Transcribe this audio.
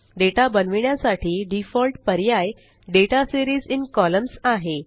data बनविण्यासाठी default पर्याय दाता सीरीज इन कॉलम्न्स आहे